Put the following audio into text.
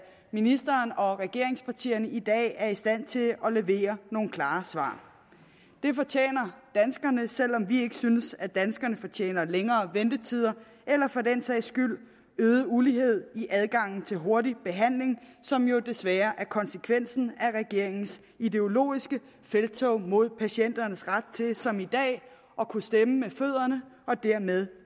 ministeren og regeringspartierne i dag er i stand til at levere nogle klare svar det fortjener danskerne selv om vi ikke synes at danskerne fortjener længere ventetider eller for den sags skyld øget ulighed i adgangen til hurtig behandling som jo desværre er konsekvensen af regeringens ideologiske felttog mod patienternes ret til som i dag at kunne stemme med fødderne og dermed